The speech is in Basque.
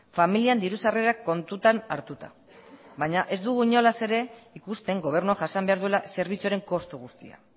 familian diru sarrerak kontutan hartuta baina ez dugu inolaz ere ikusten gobernua jasan behar duela zerbitzuaren kostu guztia